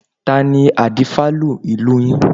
Tani Adífálà ìlú yín?